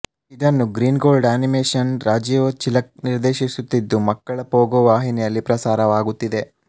ಇದನ್ನು Green Gold ಆನಿಮೇಷನ್ನ ರಾಜೀವ್ ಚಿಲಕ ನಿರ್ದೇಶಿಸುತ್ತಿದ್ದು ಮಕ್ಕಳ ಪೋಗೊ ವಾಹಿನಿಯಲ್ಲಿ ಪ್ರಸಾರವಾಗುತ್ತಿದೆ